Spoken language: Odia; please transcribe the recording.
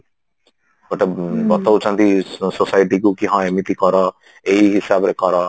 ଗୋଟେ ବତଉଛନ୍ତି societyକୁ କି ହଁ ଏମିତି କର ଏଇ ହିସାବରେ କର